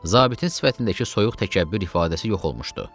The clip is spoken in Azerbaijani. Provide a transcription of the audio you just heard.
Zabitin sifətindəki soyuq təkəbbür ifadəsi yox olmuşdu.